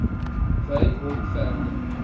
wy hom verder